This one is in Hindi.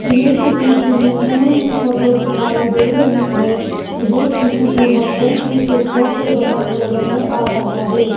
ये किसी स्विमिंग पूल की फोटो दिखाई दे रही है जो कि किसी होटल की रूफ टॉप पे बना हुआ नजर आ रहा है।